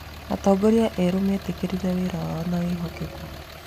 Atongoria erũ metĩkĩrire wĩra wao na wĩhokeku.